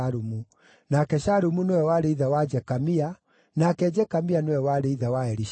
nake Shalumu nĩwe warĩ ithe wa Jekamia, nake Jekamia nĩwe warĩ ithe wa Elishama.